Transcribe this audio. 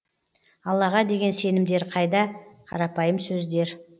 аллаға деген сенімдері қайда қарапайым сөздер